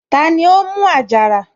Tani ó mú àjàrà?